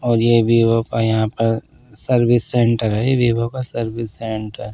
और ये वीवो का यहाँ पर सर्विस सेंटर है ये वीवो का सर्विस सेंटर है।